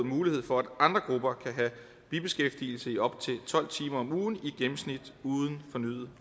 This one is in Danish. mulighed for at andre grupper kan have bibeskæftigelse i op til tolv timer om ugen i gennemsnit uden fornyet